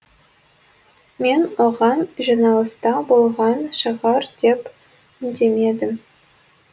мен оған жиналыста болған шығар деп үндемедім